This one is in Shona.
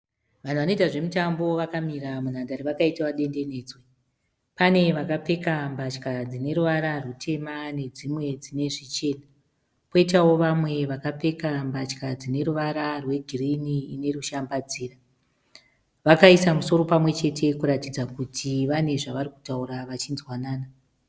Vanhu vanoita zvomutambo vakamira munhandare vakaitawo dendenedzwa. Pane vakapfeka mbatya dzine ruvara rutema nedzimwe dzine zvichena. Kwoitawo vamwe vakapfeka mbatya dzine ruvara rwegirini ine rushambadziro. Vakaisa misoro pamwe chete kuratidza kuti vane zvavari kutaura vachinzwanana.